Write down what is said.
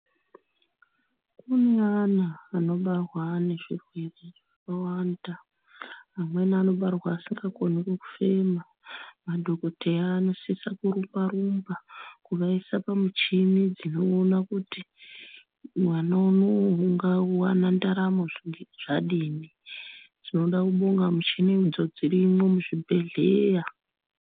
Kune ana anobarwa ne zvirwere zvakawanda amweni anobarwa asika koni kufema madhokoteya anosisa kurumba rumba kuvaisa pa muchini dzino ona kuti mwana unowu ungawana ndaramo zvadini tinoda kubonga muchini idzo dzirimwo mu zvibhedhleya.